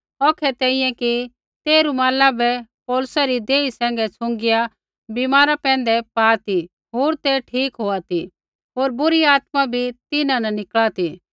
औखै तैंईंयैं कि ते रूमाला बै पौलुसै री देही सैंघै छ़ुँगिआ बीमारा पैंधै पा ती होर ते ठीक होआ ती होर बुरी आत्मा बी तिन्हां न निकल़ा ती